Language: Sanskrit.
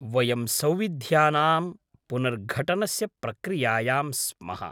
वयं सौविध्यानां पुनर्घटनस्य प्रक्रियायां स्मः।